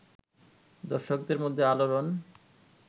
দর্শকদের মধ্যে আলোড়ন